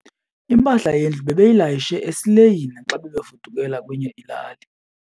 Impahla yendlu bebeyilayishe esileyini xa bebefudukela kwenye ilali.